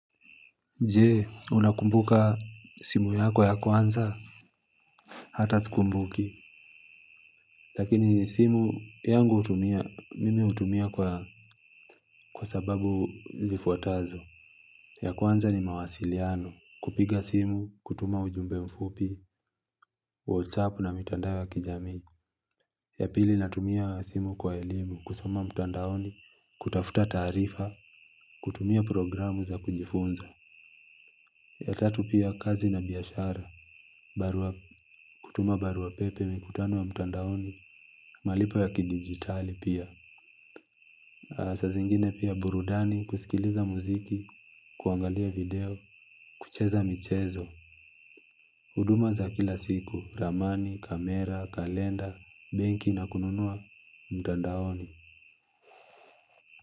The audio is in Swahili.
Jee, unakumbuka simu yako ya kwanza, hata sikumbuki. Lakini simu yangu hutumia, mimi hutumia kwa sababu zifuatazo. Ya kwanza ni mawasiliano. Kupiga simu, kutuma ujumbe mfupi, whatsapp na mitandao wa kijamii. Yapili natumia simu kwa elimu, kusoma mtandaoni, kutafuta taarifa, kutumia programu za kujifunza. Ya tatu pia kazi na biashara, barua kutuma barua pepe mikutano ya mtandaoni, malipo ya kidigitali pia. Sa zingine pia burudani kusikiliza muziki, kuangalia video, kucheza michezo. Huduma za kila siku, ramani, kamera, kalenda, benki na kununua mtandaoni.